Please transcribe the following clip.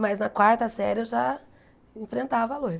Mas na quarta série eu já enfrentava a loira.